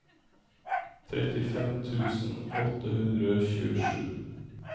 trettifem tusen åtte hundre og tjuesju